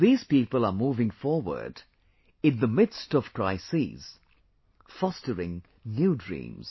These people are moving forward in the midst of crises, fostering new dreams